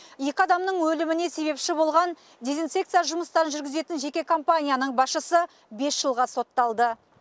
екі адамның өліміне себепші болған дезинсекция жұмыстарын жүргізетін жеке команияның басшысы бес жылға сотталды